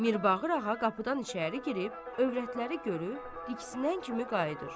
Mirbağır ağa qapıdan içəri girib, övrətləri görüb, ikisindən kimi qayıdır.